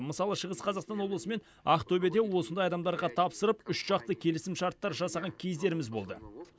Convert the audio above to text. мысалы шығыс қазақстан облысы мен ақтөбеде осындай адамдарға тапсырып үшжақты келісімшарттар жасаған кездеріміз болды